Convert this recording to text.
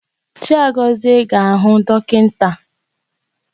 Chaigozie ga-ahụ dọkịnta.